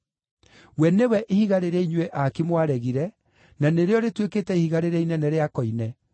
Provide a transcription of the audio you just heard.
We nĩwe “ ‘ihiga rĩrĩa inyuĩ aaki mwaregire, na nĩrĩo rĩtuĩkĩte ihiga rĩrĩa inene rĩa koine.’